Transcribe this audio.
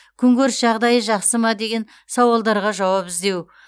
күнкөріс жағдайы жақсы ма деген сауалдарға жауап іздеу